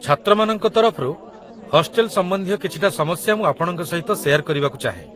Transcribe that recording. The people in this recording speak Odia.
ଛାତ୍ରମାନଙ୍କ ତରଫରୁ, ହଷ୍ଟେଲ ସମ୍ବନ୍ଧୀୟ କିଛିଟା ସମସ୍ୟା ମୁଁ ଆପଣଙ୍କ ସହିତ ସେୟାର କରିବାକୁ ଚାହେଁ